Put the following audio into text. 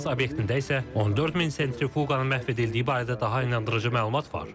Natans obyektində isə 14000 sentrifuqanın məhv edildiyi barədə daha inandırıcı məlumat var.